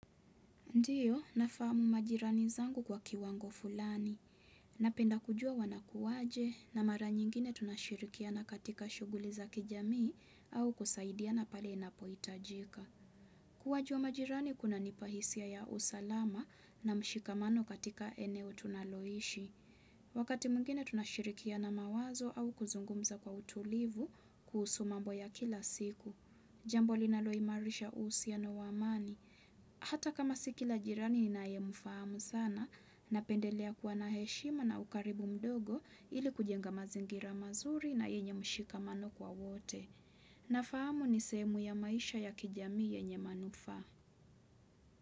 Ndiyo, nafamu majirani zangu kwa kiwango fulani. Napenda kujua wanakuwaje na mara nyingine tunashirikia na katika shughuli za kijamii au kusaidia na pale inapoitajika. Kuwajua majirani kuna nipahisia ya usalama na mshikamano katika eneo tunaloishi. Wakati mwingine tunashirikia na mawazo au kuzungumza kwa utulivu kuhusumambo ya kila siku. Jambo linaloimarisha uhusiana wa amani. Hata kama sikila jirani ni naye mfahamu sana na pendelea kuwa na heshima na ukaribu mdogo ili kujenga mazingira mazuri na yenye mshika mano kwa wote. Nafahamu ni sehemu ya maisha ya kijamii yenye manufaa.